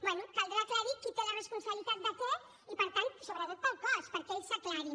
bé caldrà aclarir qui té la responsabilitat de què i per tant sobretot per al cos perquè ells s’aclareixin